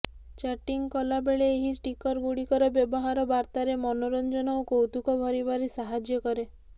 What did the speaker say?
chatting କଲା ବେଳେ ଏହି ଷ୍ଟିକର୍ଗୁଡ଼ିକର ବ୍ୟବହାର ବାର୍ତାରେ ମନୋରଞ୍ଜନ ଓ କୌତୁକ ଭରିବାରେ ସାହାଯ୍ୟ କରେ